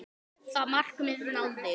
Það markmið náðist.